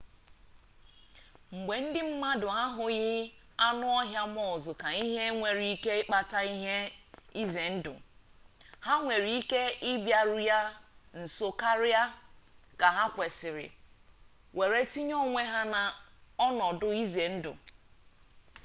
mgbe ndị mmadụ ahụghị anụ ọhịa muz ka ihe nwere ike ikpata ihe ize ndụ ha nwere ike ịbịaru ya nso karịa ka ha kwesịrị were tinye onwe ha n'ọnọdụ ize ndụ